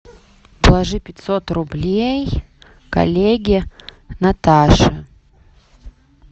положи пятьсот рублей коллеге наташе